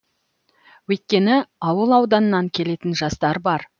өйткені ауыл ауданнан келетін жастар бар